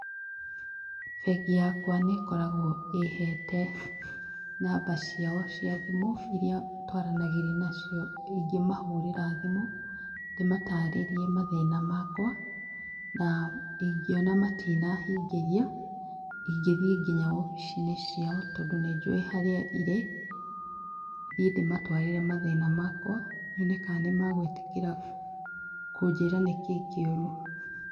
Bengi yakwa nĩĩkoragwo ĩhete namba ciao cia thimũ iria twaranagĩria nacio, ingĩmahũrĩra thimũ ndĩmatarĩrie mathĩna makwa na ndingĩona matina hingĩria ndingĩthie nginya wobici-inĩ ciao tondũ nĩnjũĩ harĩa irĩ thiĩ ndĩmatwarĩre mathĩna makwa nyone kana nĩmagwĩtĩkĩra kũnjĩra nĩkĩĩ kĩũru.